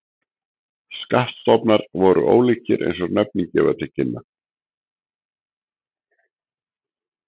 Skattstofnar voru ólíkir eins og nöfnin gefa til kynna.